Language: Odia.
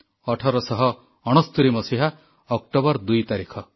1869 ମସିହା ଅକ୍ଟୋବର 2 ତାରିଖ